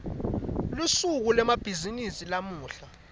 lusuku lwemabhizimisi lamuhla